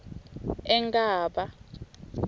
enkhaba